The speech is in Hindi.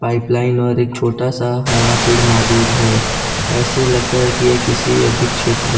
पाइपलाइन और एक छोटा सा हरा पेड़ मौजूद है ऐसे लगता है कि यह किसी अधिक क्षेत्र--